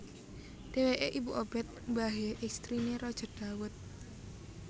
Dhèwèké ibu Obed mbahé èstriné Raja Dawud